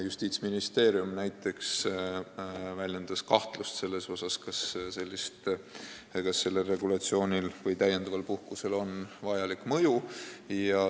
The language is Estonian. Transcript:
Justiitsministeerium näiteks väljendas kahtlust, kas sellel regulatsioonil või lisapuhkusel on vajalik mõju.